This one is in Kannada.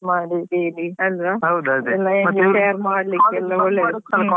ಮತ್ತೆಲ್ಲ ಗಮ್ಮತ್ ಆಗ್ತದೆ college ಹೋಗಿ ಎಲ್ಲರನ್ನು meet ಮಾಡಿ daily ಅಲ್ವಾ.